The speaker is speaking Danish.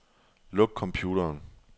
Luk computeren.